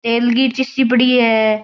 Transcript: तेल की शीशी पड़ी है।